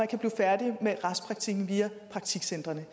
kan blive færdige med restpraktikken via praktikcentrene